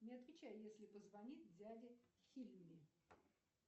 не отвечай если позвонит дядя хильми